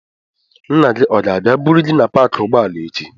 Nna gị ọ ga-abịa buru gị na paakị ụgbọala echi?